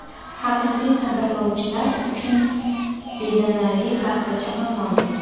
Haqiqiy qadrlovchilar uchun bedanali taxtacha ham mavjud.